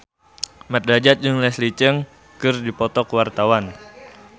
Mat Drajat jeung Leslie Cheung keur dipoto ku wartawan